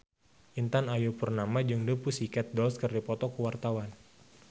Intan Ayu Purnama jeung The Pussycat Dolls keur dipoto ku wartawan